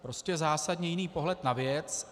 Prostě zásadně jiný pohled na věc.